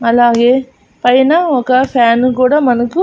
అలాగే పైన ఒక ఫ్యాను కూడా మనకు--